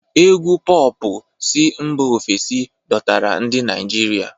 Égwù Pọọpụ si mba ofesi dọtara ndị Naijiria.